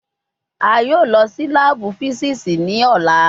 A yoo lọ si laabu fisiksi ni ọla